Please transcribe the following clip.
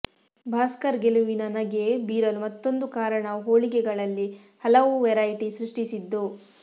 ಭಾಸ್ಕರ್ ಗೆಲುವಿನ ನಗೆ ಬೀರಲು ಮತ್ತೊಂದು ಕಾರಣ ಹೋಳಿಗೆಗಳಲ್ಲಿ ಹಲವು ವೆರೈಟಿ ಸೃಷ್ಟಿಸಿದ್ದು